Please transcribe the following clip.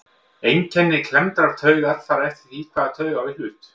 Einkenni klemmdrar taugar fara eftir því hvaða taug á í hlut.